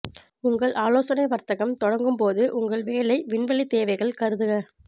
உங்கள் ஆலோசனை வர்த்தகம் தொடங்கும் போது உங்கள் வேலை விண்வெளி தேவைகள் கருதுக